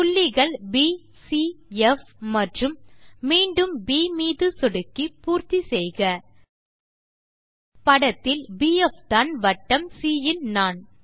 புள்ளிகள் ப் சி ப் மற்றும் மீண்டும் ப் மீது சொடுக்கி பூர்த்தி செய்க படத்தில் பிஎஃப் தான் வட்டம் சி யின் நாண்